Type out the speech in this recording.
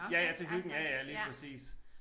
Ja ja til hyggen ja ja lige præcis